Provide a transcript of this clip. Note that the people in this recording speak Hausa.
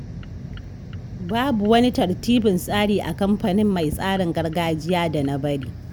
Babu wani tartibin tsari a kamfanin mai tsarin gargajiya da na bari.